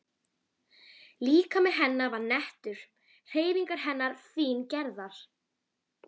Líkami hennar var nettur, hreyfingar hennar fíngerðar.